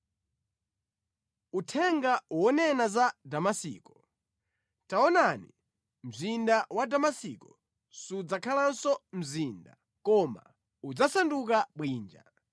Uthenga wonena za Damasiko: “Taonani, mzinda wa Damasiko sudzakhalanso mzinda, koma udzasanduka bwinja.